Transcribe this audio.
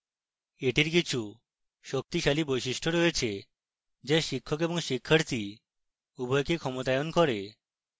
এটির কিছু শক্তিশালী বৈশিষ্ট্য রয়েছে যা শিক্ষক এবং শিক্ষার্থী উভয়কে ক্ষমতায়ন করে